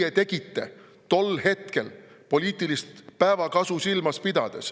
Teie tegite, tol hetkel poliitilist päevakasu silmas pidades.